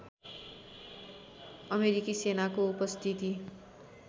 अमेरिकी सेनाको उपस्थिति